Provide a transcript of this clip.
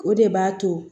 O de b'a to